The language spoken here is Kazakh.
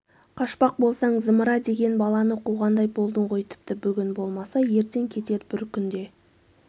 қашпақ болсаң зымыра деген баланы қуғандай болдың ғой тіпті бүгін болмаса ертең кетер бір күн де